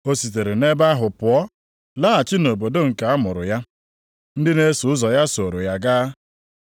Ọ sitere nʼebe ahụ pụọ laghachi nʼobodo nke a mụrụ ya. Ndị na-eso ụzọ ya sooro ya gaa.